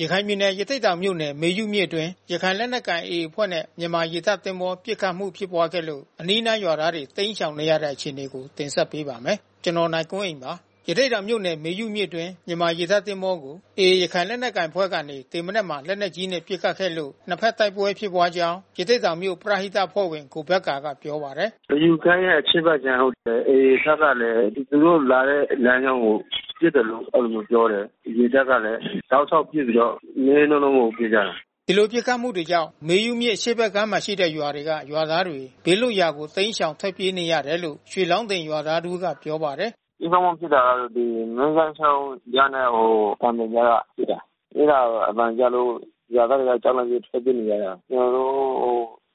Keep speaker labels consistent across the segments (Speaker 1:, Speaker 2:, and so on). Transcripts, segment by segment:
Speaker 1: ရခိုင်ပြည်နယ် ရသေ့တောင်မြို့နယ် မေယုမြစ်အတွင်း ရခိုင်လက်နက်ကိုင် AA အဖွဲ့နဲ့ မြန်မာရေတပ်သင်္ဘော ပစ်ခတ်မှု ဖြစ်ပွားခဲ့လို့ အနီးအနား အရပ်သားတွေ တိမ်းရှောင်နေရတဲ့အခြေအနေကို ဗွီအိုအေမြန်မာပိုင်းသတင်းထောက် ကိုနိုင်ကွန်းအိန်က တင်ဆက်ပေးပါမယ်။ ရသေ့တောင်မြို့နယ် မေယုမြစ်အတွင်းက မြန်မာရေတပ်သင်္ဘောကို AA ရခိုင်လက်နက်ကိုင်အဖွဲ့ကနေ ဒီမနက်မှာ လက်နက်ကြီးနဲ့ ပစ်ခတ်ခဲ့လို့ နှစ်ဘက်တိုက်ပွဲဖြစ်ပွားကြောင်း ရသေ့တောင်မြို့ပရဟိတအဖွဲ့ဝင် ကိုဘက္ကာကပြောပါတယ်။
Speaker 2: “မေယုကမ်းရဲ့ အရှေ့ဘက်ကမ်းဟုတ်တယ်။ AA ဘက်ကလည်း သူတို့လာတဲ့ လမ်းကြောင်းကို အဲဒီလိုမျိုးပစ်တယ်လို့ ပြောတယ်။ ရေတပ်ကလည်း တောက်လျှောက်ပစ်ပြီးတော့ နည်းနည်း နောနောမဟုတ်ဘူး ပစ်ကြတာ။
Speaker 1: ” ဒီလိုပစ်ခတ်မှုတွေကြောင့် မေယုမြစ်အရှေ့ဘက်ကမ်းမှာ ရှိတဲ့ရွာတွေက ရွာသားတွေ ဘေးလွတ်ရာကို တိမ်းရှောင် ထွက်ပြေးနေရတယ်လို့ ရွှေလောင်းတင်ရွာသားတဦး ပြောပါတယ်။
Speaker 2: “ပစ်ခတ်မှု ဖြစ်တာကတော့ မြင်းဂန်းချောင်းကြားနဲ့ ကံပြင်ကြားကဖြစ်တာ။ အဲဒါ အသံကြားလို့ ရွာသားတွေ ကြောက်လန့် ပြီးထွက်ပြေးနေရတာ။ ကျနော်တို့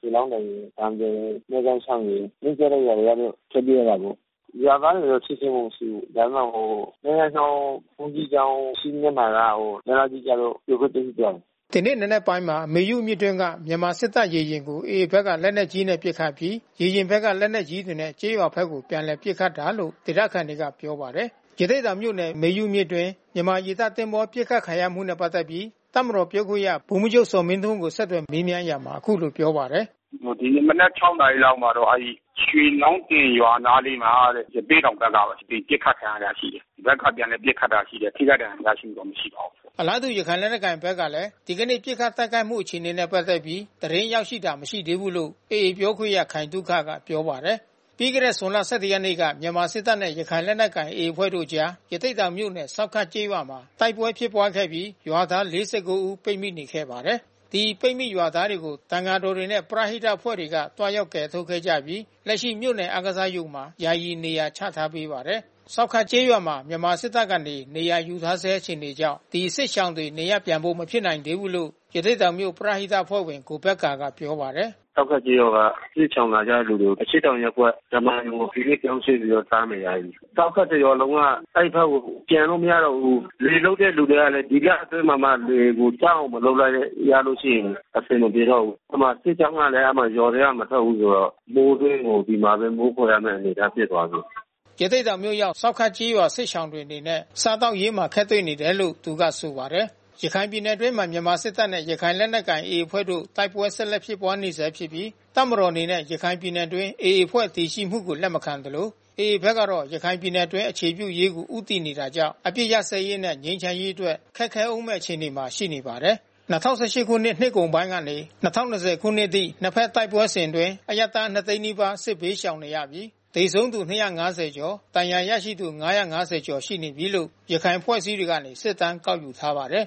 Speaker 2: ရွှေလောင်းတင်ရယ် ကံပြင်ရယ် မြင်းဂန်းချောင်းရယ် နီးစပ်တဲ့ရွာတွေကတော့ ထွက်ပြေးရတာပေါ့။ ရွာသားတွေကတော့ ထိခိုက်မှု မရှိဘူး။ ဒါပေမဲ့ မြင်းဂန်းချောင်း ဘုန်းကြီးကျောင်း ရှေ့မျက်နှာက လက်နက်ကြီးကျလို့ ပြိုပျက်ပျက်စီးခဲ့တယ်။”
Speaker 1: ဒီနေ့ နံနက်ပိုင်း ၄ နာရီ ခွဲကျော်အချိန်မှာ မေယုမြစ်အတွင်းက မြန်မာစစ်တပ်ရေယာဉ်ကို AA ဘက်က လက်နက်ကြီးနဲ့ ပစ်ခတ်အပြီး ရေယာဉ်ဘက်က လက်နက်ကြီးတွေနဲ့ ကျေးရွာဘက်ကို ပြန်လည်ပစ်ခတ်တာလို့ ဒေသခံတွေက ပြောပါတယ်။ ရသေ့တောင်မြို့နယ် မေယုမြစ်အတွင်း မြန်မာရေတပ်သင်္ဘော ပစ်ခတ်ခံရမှုနဲ့ ပတ်သက်ပြီး တပ်မတော်ပြောခွင့်ရ ဗိုလ်မှူးချုပ်ဇော်မင်းထွန်းကို ဆက်သွယ်မေးမြန်းရာမှာ အခုလိုပြောပါတယ်။ “ဒီနေ့ မ
Speaker 2: နက် ၆ နာရီမှာကျတော့ ရွှေလောင်းတင်ရွာအနားလေးမှာတဲ့ ရသေ့တောင်ဘက်ကပဲ ပစ်ခတ်ခံရတာရှိတယ်။ ဒီဘက်ကပြန်လည်ပစ်ခတ်တာ ရှိတယ်။ ထိခိုက်ဒဏ်ရာ ရရှိမှုတော့ မရှိပါဘူး
Speaker 1: ။” အလားတူ ရခိုင်လက်နက်ကိုင်ဘက်ကလည်း ဒီကနေ့ ပစ်ခတ်တိုက်ခိုက်မှုအခြေအနေနဲ့ ပတ်သက်ပြီး သတင်းရောက်ရှိတာ မရှိသေးဘူးလို့ AA ပြောခွင့်ရခိုင်သုခကပြောပါတယ်။ ပြီးခဲ့တဲ့ ဇွန်လ ၁၁ ရက်နေ့မှာ မြန်မာစစ်တပ်နဲ့ ရခိုင်လက်နက်ကိုင် AA အဖွဲ့တို့အကြား ရသေ့တောင်မြို့နယ် ဆောက်ခတ်ကျေးရွာမှာ တိုက်ပွဲဖြစ်ပွားခဲ့ပြီး ရွာသား ၄၉ ဦး ပိတ်မိနေခဲ့ပါတယ်။ ဒီပိတ်မိရွာသားတွေကို သံဃာတော်တွေနဲ့ ပရဟိတအဖွဲ့တွေက သွားရောက်ကယ်ထုတ်ခဲ့ကြပြီး လက်ရှိမြို့နယ် အားကစားရုံမှာ ယာယီနေရာချထားပေးပါတယ်။ ဆောက်ခတ်ကျေးရွာမှာ မြန်မာစစ်တပ်ကနေ နေရာယူထားဆဲ အခြေအနေကြောင့် ဒီစစ်ရှောင်တွေ နေရပ်ပြန်ဖို့ မဖြစ်နိုင်သေးဘူးလို့ ရသေ့တောင်မြို့ ပရဟိတအဖွဲ့ဝင် ကိုဘက္ကာကပြောပါတယ်။
Speaker 2: “ဆောက်ခတ်ကျေးရွာက စစ်ရှောင်လာကြတဲ့သူတွေကို အရှေ့တောင်ရပ်ကွက်ဓမ္မာရုံကို ဒီနေ့ ပြောင်းရွှေ့ပြီးသွားနေကြပြီး။ ဆောက်ခတ်တရွာလုံးက အဲဒီဘက်ကိုပြန်လို့ မရတော့ဘူး။ လယ်လုပ်တဲ့လူတွေလည်း ဒီလအတွင်းမှာမှ လယ်ကို ပြတ်အောင် မလုပ်လိုက်ရလို့ရှိရင် အဆင်မပြေတော့ဘူး။ အဲဒီမှာစစ်ကြောင်းကလည်း ရွာက မထွက်ဘူးဆိုတော့ မိုးတွင်းမှာ ဒီမှာမိုးခိုနေရတဲ့ အနေအထားဖြစ်သွားပြီ။
Speaker 1: ” ရသေ့တောင်မြို့ရောက် ဆောက်ခတ်ကျေးရွာစစ်ရှောင်တွေအနေနဲ့ စားသောက်ရေးမှာ အခက်တွေ့နေတယ်လို့ သူက ဆိုပါတယ်။ ရခိုင်ပြည်နယ်အတွင်းမှာ မြန်မာစစ်တပ်နဲ့ ရခိုင်လက်နက်ကိုင် AA အဖွဲ့တို့ တိုက်ပွဲဆက်လက်ဖြစ်ပွါးနေဆဲဖြစ်ပြီး တပ်မတော်အနေနဲ့ ရခိုင်ပြည်နယ်အတွင်း AA အဖွဲ့တည်ရှိမှုကိုလက်မခံသလို AA ဘက်ကတော့ ရခိုင်ပြည်နယ် အတွင်းအခြေပြုရေးကို ဦးတည်နေတာကြောင့် အပစ်ရပ်စဲရေးနဲ့ ငြိမ်းချမ်းရေးအတွက် ခက်ခဲဦးမယ့် အခြေအနေမှာ ရှိနေပါတယ်။ ၂၀၁၈ နှစ်ကုန်ပိုင်းကနေ ၂၀၂၀ ခုနှစ်အထိ နှစ်ဘက်တိုက်ပွဲစဉ်အတွင်း အရပ်သား ၂၀၀,၀၀၀ နီးပါးစစ်ရှောင်နေရပြီး သေဆုံးသူ ၂၅၀ ကျော်၊ ဒဏ်ရာရရှိသူ ၅၅၀ ကျော်ရှိနေပြီးလို့ ရခိုင်အဖွဲ့အစည်းတွေက စစ်တမ်းကောက်ယူထားပါတယ်